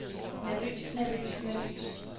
nervøs nervøs nervøs